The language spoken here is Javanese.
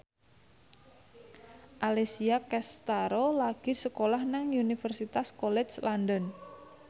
Alessia Cestaro lagi sekolah nang Universitas College London